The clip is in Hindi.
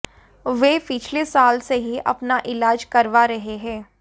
वे पिछले साल से ही अपना इलाज करवा रहे हैं